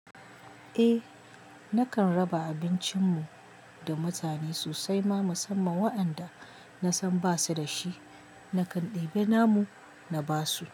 Eh, nakan raba abincin mu da mutane sosai ma musamman waɗanda na san ba su da shi. Nakan ɗebi namu na ba su.